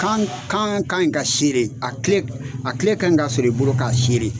Kan kan kan in ka a kile a kile ka ɲi ka sɔrɔ i bolo k'a